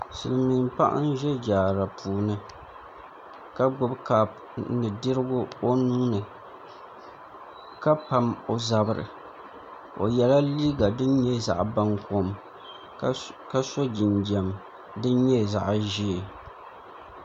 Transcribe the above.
Silmiin paɣa n ʒɛ jaara puuni ka gbubi kaap ni dirigu o nuuni ka pam o zabiri o yɛla liiga din nyɛ zaɣ bankom ka so jinjɛm din nyɛ zaɣ ʒiɛ